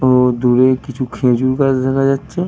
ও দূরে কিছু খেজুর গাছ দেখা যাচ্ছে।